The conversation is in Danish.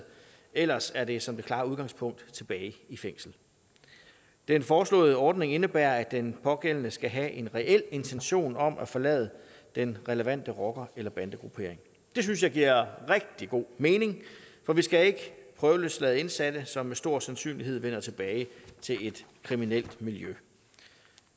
ellers er det som det klare udgangspunkt tilbage i fængsel den foreslåede ordning indebærer at den pågældende skal have en reel intention om at forlade den relevante rocker eller bandegruppering det synes jeg giver rigtig god mening for vi skal ikke prøveløslade indsatte som med stor sandsynlighed vender tilbage til et kriminelt miljø